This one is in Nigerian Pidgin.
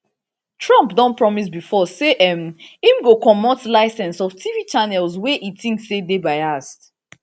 trump don promise bifor say um im go comot licence of tv channels wey e tink say dey biased